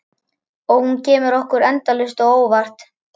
Og hún kemur okkur endalaust á óvart.